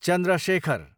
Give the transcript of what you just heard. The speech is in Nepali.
चन्द्र शेखर